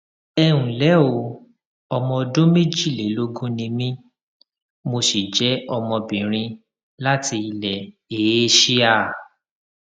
ẹ ǹlẹ o ọmọ ọdún méjìlélógún ni mí mo sì jẹ ọmọbìnrin láti ilẹ eéṣíà